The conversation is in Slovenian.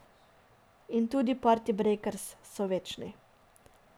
In tudi Partibrejkers so večni.